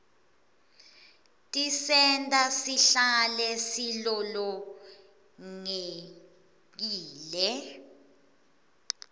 tisenta sihlale silolongekile